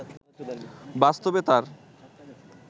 বাস্তবে তার